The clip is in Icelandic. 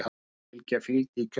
Flóðbylgja fylgdi í kjölfarið